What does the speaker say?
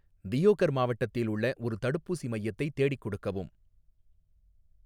தியோகர் மாவட்டத்தில் உள்ள ஒரு தடுப்பூசி மையத்தை தேடிக் கொடுக்கவும்